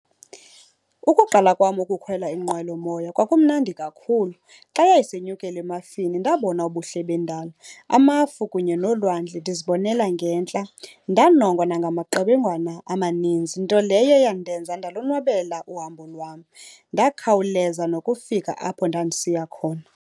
Ukuqala kwam ukukhwela inqwelomoya kwakumnandi kakhulu. Xa yayisenyukela emafini ndabona ubuhle bendalo, amafu kunye nolwandle ndizibonela ngentla. Ndanongwa nangamaqebengwana amaninzi, nto leyo eyandenza ndalonwabela uhambo lwam. Ndakhawuleza nokufika apho ndandisiya khona.